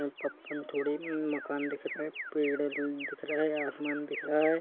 है पप्पान थोड़ी मकान दिख रहा हैं पेड़ दिख रहा हैं आसमान दिख रहा हैं।